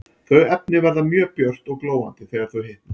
Þau efni verða mjög björt og glóandi þegar þau hitna.